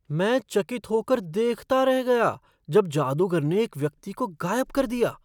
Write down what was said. मैं चकित हो कर देखता रह गया जब जादूगर ने एक व्यक्ति को गायब कर दिया!